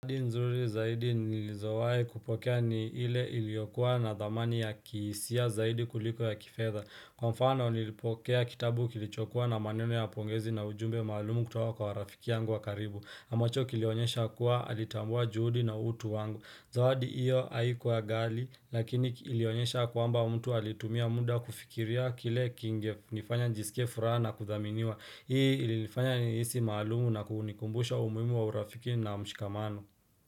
Zawadi nzuri zaidi nilizawahi kupokea ni ile iliyokuwa na thamani ya kihisia zaidi kuliko ya kifedha. Kwa mfano nilipokea kitabu kilichokua na maneno ya pongezi na ujumbe maalumu kutoka kwa rafiki yangu wa karibu. Ambacho kilionyesha kuwa alitambua juhudi na utu wangu. Zawadi hiyo haikuwa ghali lakini ilionyesha kwamba mtu alitumia muda kufikiria kile kingenifanya nijisike furaha na kuthaminiwa. Hii ilifanya nihisi maalumu na kunikumbusha umuhimu wa urafiki na mshikamano.